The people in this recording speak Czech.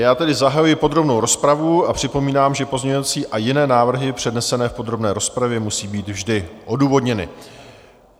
Já tedy zahajuji podrobnou rozpravu a připomínám, že pozměňovací a jiné návrhy přednesené v podrobné rozpravě musí být vždy odůvodněny.